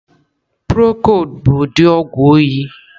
Prokod bu udi ogwu oyị.